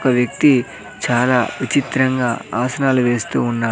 ఒక వ్యక్తి చాలా విచిత్రంగా ఆసనాలు వేస్తూ ఉన్నా--